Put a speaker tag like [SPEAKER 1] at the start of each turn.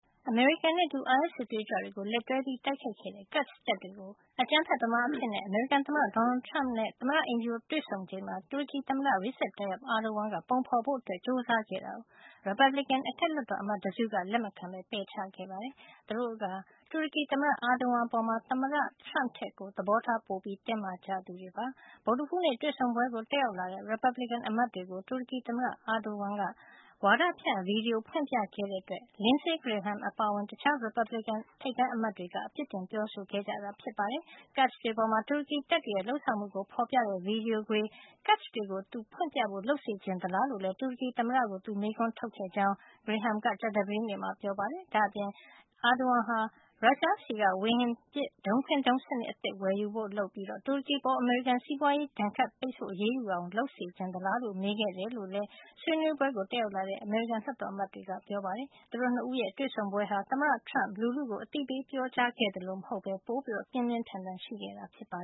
[SPEAKER 1] အမေရိကန်နဲ့အတူ အိုင်အက်စ်စစ်သွေးကြွတွေကို လက်တွဲတိုက်ခိုက်ခဲ့တဲ့ Kurds တပ်တွေကို အကြမ်းဖက်သမားတွေ အဖြစ် အမေရိကန်သမ္မတ Donald Trump နဲ့ သမ္မတအိမ်ဖြူတော်မှာ တွေ့ဆုံချိန်မှာ တူရကီသမ္မတ Recep Tayyip Erdogan က ပုံဖေါ်ဖို့ကြိုးစား ခဲ့တာအတွက် ရီပတ်ဘလစ်ကင် အထက်လွှတ်တော်အမတ်တစုက လက်မခံပဲ ပယ်ချခဲ့ပါတယ်။ သူတို့ဟာ တူရကီသမ္မတ Erdogan အပေါ် သမ္မတ Trump ထက် သဘောထား ပိုတင်းမာကြသူတွေပါ။ ဗုဒ္ဓဟူးနေ့ တွေ့ဆုံပွဲကို တက်ရောက်လာတဲ့ ရီပတ်ဘလစ်ကင် အမတ်တွေကို တူရကီသမ္မတ Erdogan က ဝါဒဖြန့်ဗီဒီယို ဖွင့်ပြခဲ့တဲ့အတွက် Lindsey Graham အပါအဝင် တခြား ရီပတ်ဘလစ်ကင်အမတ်တွေက အပြစ်တင်ပြောဆိုခဲ့ကြတာ ဖြစ်ပါတယ်။ Kurds တွေအပေါ် တူရကီတပ်တွေရဲ့ လုပ်ဆောင်မှုကို ဖေါ်ပြတဲ့ ဗီဒီယိုခွေ- Kurds တွေကို သူဖွင့်ပြဖို့ လုပ်စေချင်သလားလို့ တူရကီသမ္မတကို သူမေးခွန်းထုတ်ခဲ့တယ်လို့လည်း Graham က ကြာသပတေးနေ့မှာ ပြောပါတယ်။ ဒါ့အပြင် Erdogan ဟာ ရုရှားဆီက ဝေဟင်ပစ် ဒုံးခွင်းဒုံးစံနစ် အသစ် ဝယ်ယူဖို့ လုပ်ပြီး တူရကီအပေါ် အမေရိကန်က စီးပွားရေးဒဏ်ခတ် အရေးယူလာအောင် လုပ်ချင်သလားလို့ မေးခဲ့ကြတယ်လို့လည်း ဆွေးနွေးပွဲကို တက်ရောက်လာတဲ့ အမေရိကန်လွှတ်တော်အမတ်တွေက ပြောပါတယ်။ သမ္မတ ၂ ဦးရဲ့ တွေ့ဆုံပွဲဟာ သမ္မတ Trump လူထုကို အသိပေး ပြောကြားခဲ့သလို မဟုတ်ပဲ ပိုပြီး ပြင်းပြင်းထန်ထန် ရှိခဲ့တာ
[SPEAKER 2] ပါ